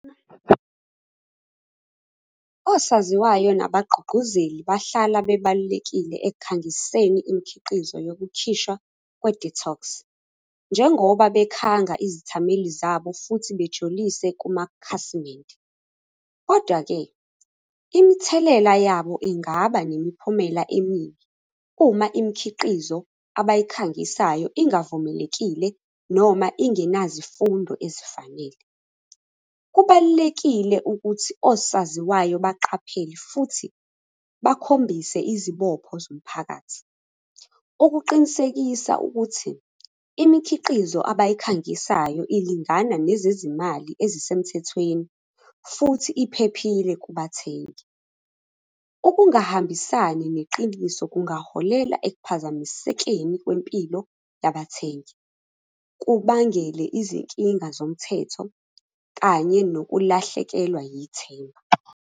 Osaziwayo nabagqugquzeli bahlala bebalulekile ekukhangiseni imikhiqizo yokukhishwa kwe-detox. Njengoba bekhanga izithameli zabo, futhi bejulise kumakhasimende, kodwa-ke, imithelela yabo ingaba nemiphumela emibi uma imikhiqizo abayikhangisayo ingavumelekile noma ingenazifundo ezifanele. Kubalulekile ukuthi osaziwayo baqaphele futhi bakhombise izibopho zomphakathi, ukuqinisekisa ukuthi imikhiqizo abayikhangisayo ilingana nezezimali ezisemthethweni, futhi iphephile kubathengi. Ukungahambisani neqiniso kungaholela ekuphazamisekeni kwempilo yabathengi. Kubangele izinkinga zomthetho, kanye nokulahlekelwa yithemba.